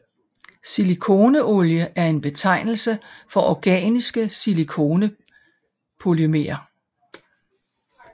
Silikoneolie er en betegnelse for organiske silikonepolymerer